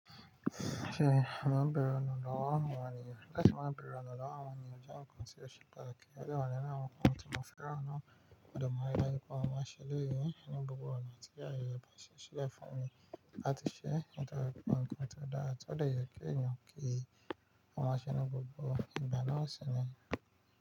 Mo máa ń bẹ̀rù ọ̀nà lọ́wọ́ àwọn ènìyàn. Láti máa bẹ̀re ọ̀nà lọ́wọ́ àwọn ènìyàn jẹ́ ǹkan tí ó ṣe pàtàkì. Odẹ wọ́n ni inú àwọn ǹkan tí mo fẹràn nà. Mo dẹ mà ń ri daju pé mo máa ń ṣe eléyìí ní gbogbo ọ̀nà tí ayẹyẹ bàṣe Ṣile fún mi láti ṣẹ́ nítorí pé ǹkan tí ó dára tí ó dẹ yẹ kí èèyàn kí i. Wọn máa ń ṣe ní gbogbo ìgbà na sì ni.